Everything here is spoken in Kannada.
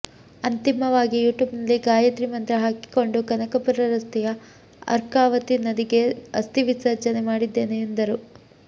ಅಂತಿಮವಾಗಿ ಯುಟ್ಯೂಬ್ನಲ್ಲಿ ಗಾಯತ್ರಿ ಮಂತ್ರ ಹಾಕಿಕೊಂಡು ಕನಕಪುರ ರಸ್ತೆಯ ಅರ್ಕಾವತಿ ನದಿಗೆ ಅಸ್ಥಿ ವಿಸರ್ಜನೆ ಮಾಡಿದ್ದೇನೆ ಎಂದರು